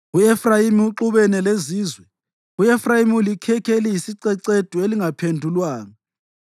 U-Efrayimi uxubana lezizwe; u-Efrayimi ulikhekhe eliyisicecedu elingaphendulwanga.